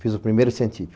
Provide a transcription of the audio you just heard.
Fiz o primeiro científico.